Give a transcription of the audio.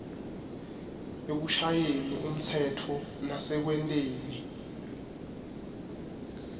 ekushayeni umtsetfo nasekwenteni